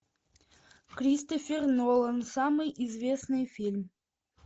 кристофер нолан самый известный фильм